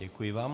Děkuji vám.